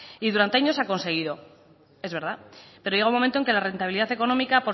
y durante años se ha conseguido es verdad pero llega un momento que la rentabilidad económica